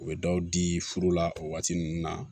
U bɛ dɔw di furu la o waati ninnu na